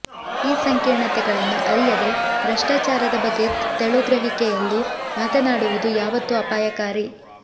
ಈ ಸಂಕೀರ್ಣತೆಗಳನ್ನು ಅರಿಯದೆ ಭ್ರಷ್ಟಾಚಾರದ ಬಗ್ಗೆ ತೆಳುಗ್ರಹಿಕೆಯಲ್ಲಿ ಮಾತನಾಡುವುದು ಯಾವತ್ತೂ ಅಪಾಯಕಾರಿ